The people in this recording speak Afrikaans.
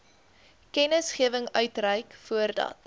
kennisgewing uitreik voordat